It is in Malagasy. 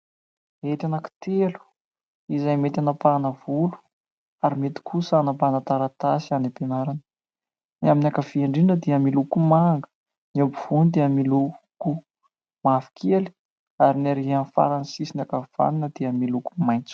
Hety anankitelo izay mety hanapahana volo ary mety kosa hanapahana taratasy any am-pianarana. Ny amin'ny ankavia indrindra dia miloko manga, ny eo ampovoany dia miloko mavokely ary ny arỳ amin'ny farany sisiny ankavanana dia miloko maitso.